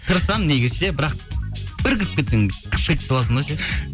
тырысамын негізі ше бірақ бір кіріп кетсең